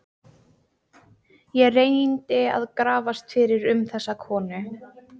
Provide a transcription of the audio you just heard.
Ég reyndi að grafast fyrir um þessa konu.